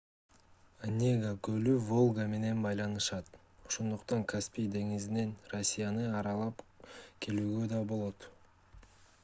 онега көлү волга менен байланышат ошондуктан каспий деңизинен россияны аралап келүүгө да болот